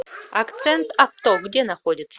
акцент авто где находится